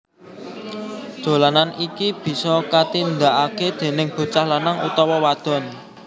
Dolanan iki bisa katindakake déning bocah lanang utawa wadon